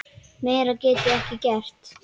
Meira get ég ekki gert.